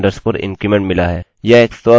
यह एक स्ववृद्धि है